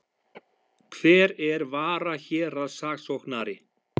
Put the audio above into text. Hver er varahéraðssaksóknari?